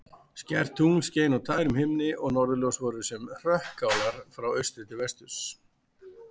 Skært tungl skein á tærum himni og norðurljós fóru sem hrökkálar frá austri til vesturs.